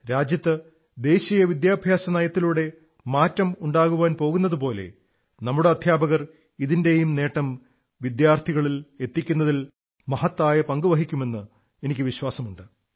രാജ്യത്ത് ദേശീയ വിദ്യാഭ്യാസ നയത്തിലൂടെ മാറ്റം ഉണ്ടാകാൻ പോകുന്നതുപോലെ നമ്മുടെ അധ്യാപകർ ഇതിന്റെയും നേട്ടം വിദ്യാർഥികളിലെത്തിക്കുന്നതിൽ മഹത്തായ പങ്കു വഹിക്കുമെന്ന് എനിക്ക് വിശ്വാസമുണ്ട്